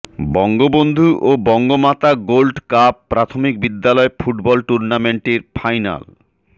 বঙ্গবন্ধু ও বঙ্গমাতা গোল্ডকাপ প্রাথমিক বিদ্যালয় ফুটবল টুর্নামেন্টের ফাইনাল